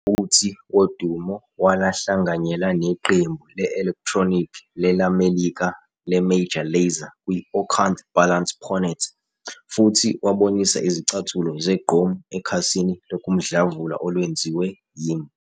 Futhi, Wodumo walahlanganyela neqembu le-elektronikhi lelamelika leMajor Lazer kwi- "Orkant Balance Pon It" futhi wabonisa izicathulo zegqom ekhasini lokumdlavula olwenziwe yimi.